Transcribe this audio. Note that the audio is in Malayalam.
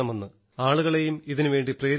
ആളുകളേയും ഇതിനുവേണ്ടി പ്രേരിപ്പിക്കണമെന്ന്